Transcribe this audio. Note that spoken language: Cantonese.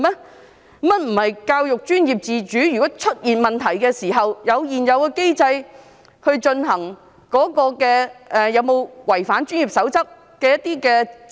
原來教育界並非享有教育專業自主，如果出現問題時，可按現有機制就有否違反專業守則進行調查？